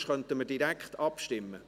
Sonst könnten wir direkt abstimmen.